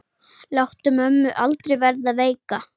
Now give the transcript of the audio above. Láttu mömmu aldrei verða veika.